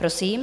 Prosím.